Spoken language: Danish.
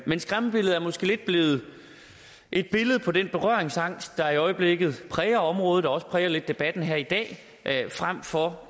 men skræmmebilledet er måske lidt blevet et billede på den berøringsangst der i øjeblikket præger området og også lidt præger debatten her i dag frem for